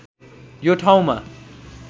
यो ठाउँमा